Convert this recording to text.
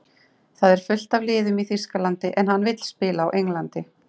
Það eru fullt af liðum í Þýskalandi, en hann vill spila á Englandi.